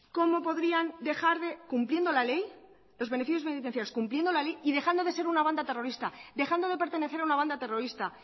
cómo podrían dejar de cumpliendo la ley lo beneficios penitenciarios cumpliendo la ley y dejando de ser una banda terrorista dejando de pertenecer a una banda terrorista